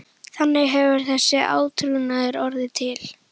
Þannig hefur þessi átrúnaður orðið til.